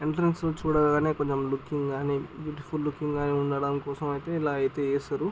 Entrance లో చూడగానే looking గని బ్యూటిఫుల్ లూకింగ్ ఉండటం కోసమైతే ఇలా ఐతే ఇస్తారు.